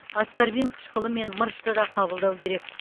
аскорбин қышқылы мен мырышты да қабылдау керек